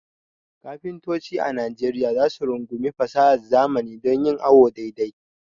Kafintoci a Najeriya za su rungumi fasahar zamani don yin awo dai dai.